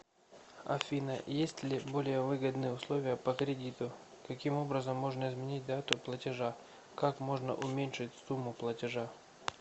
афина есть ли более выгодные условия по кредиту каким образом можно изменить дату платежа как можно уменьшить сумму платежа